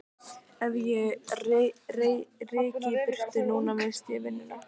Ef ég ryki í burtu núna missti ég vinnuna.